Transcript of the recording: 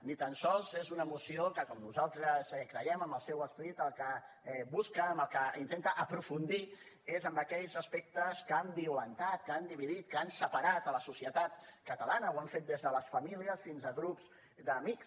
ni tan sols és una moció que com nosaltres creiem en el seu esperit el que busca en el que intenta aprofundir és en aquells aspectes que han violentat que han dividit que han separat la societat catalana ho han fet des de les famílies fins a grups d’amics